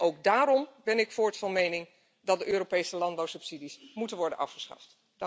Ook daarom ben ik voorts van mening dat de Europese landbouwsubsidies moeten worden afgeschaft.